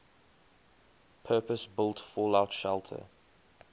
purpose built fallout shelter